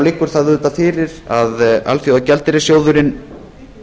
liggur það auðvitað fyrir að alþjóðagjaldeyrissjóðurinn